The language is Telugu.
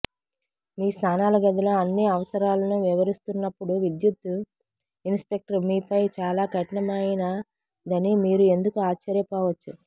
మీ స్నానాల గదిలో అన్ని అవసరాలను వివరిస్తున్నప్పుడు విద్యుత్ ఇన్స్పెక్టర్ మీపై చాలా కఠినమైనదని మీరు ఎందుకు ఆశ్చర్యపోవచ్చు